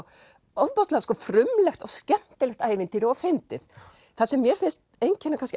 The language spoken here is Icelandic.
ofboðslega frumlegt og skemmtilegt ævintýri og fyndið það sem mér finnst einkenna